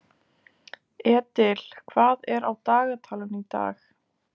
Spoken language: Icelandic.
Edil, hvað er á dagatalinu í dag?